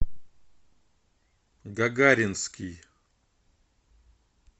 гагаринский